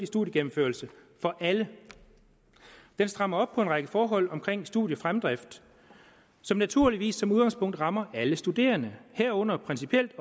studiegennemførelse for alle den strammer op på en række forhold omkring studiefremdrift som naturligvis som udgangspunkt rammer alle studerende herunder principielt